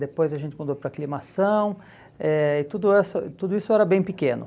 Depois a gente mudou para a Aclimação eh e tudo tudo isso era bem pequeno.